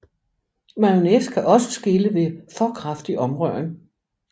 Mayonnaise kan også skille ved for kraftig omrøring